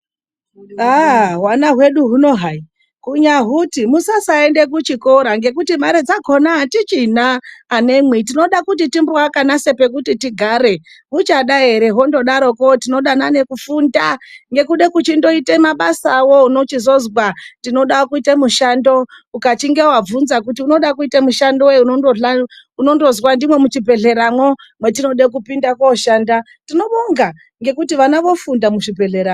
Hwana hwedu huno hayi kunyahuti musasaenda kuchikora ngekuti mari dzakona atichina anemwi, tinoda kuti timboaka nesu pekuti tigare. Tuchada here ngekuda kufunda nekuda kuchindoita mabasawo. Unochizozwa kuti tinoda mushando. Ukachiite kubvunza kuti unoda kuita mushando weyi , unozwa kuti ndimwo muchibhehleramwo mwetinoda kupinda kooshanda. tinobonga ngekuti vana vofunda muchibhehlera